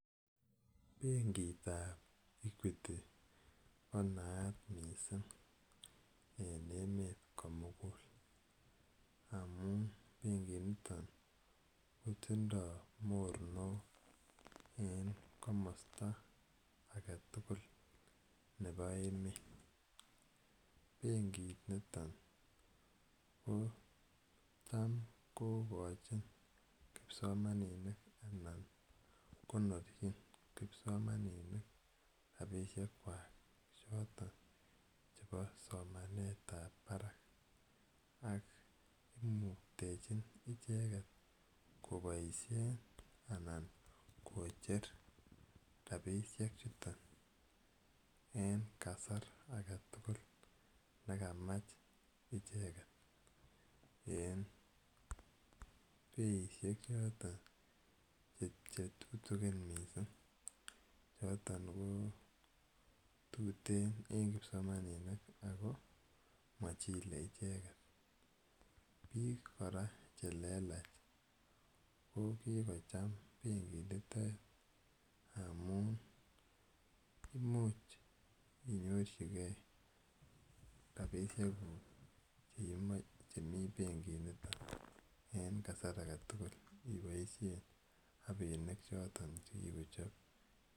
Penkit ap Equity ko naat missing' en emet komugul amun benkiniton kotindai mornok en komasta age tugul nepo emet. Benkiniton ko tam kokachin kipsomaninik anan konorchin kipsomaninik rapishekwak chotok chepo somanet ap parak ak imuktechin icheget kopiashen anan kocher rapishechuton en kasar age tugul ne kamachnicheget en peishek choron che tutikin missing', choton ko tuteen en kipsomaninik ako ma chilei icheget. Piik kora che lelach ko kikocham benkinitet amu imuch inyorchigei rapishekuk chemi benkiniton en kasar age tugul ipaishe rapinik choton che kikochop.